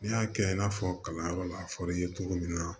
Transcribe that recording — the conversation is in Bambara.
N'i y'a kɛ i n'a fɔ kalanyɔrɔ la a fɔr'i ye cogo min na